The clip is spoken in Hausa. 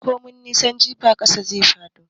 Komai nisan jifa, ƙasa zai dawo.